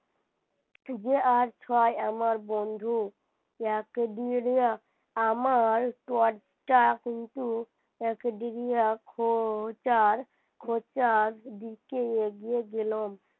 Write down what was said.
যে আর ছয় আমার বন্ধু যাকে দিয়ে আমার দরজা কিন্তু একদিন খোঁজার খোঁচার দিকে এগিয়ে গেলাম।